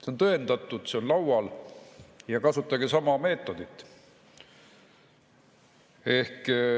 See on tõendatud, see on laual – kasutage sama meetodit.